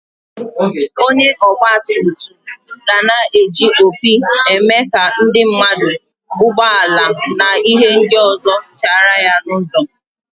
Onye ogba tum tum gana eji opi eme ka ndi mmadu, ụgbo ala na ihe ndi ọzọ chara ya n'ụzo.